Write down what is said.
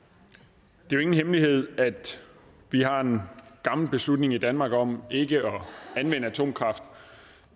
det er jo ingen hemmelighed at vi har en gammel beslutning i danmark om ikke at anvende atomkraft og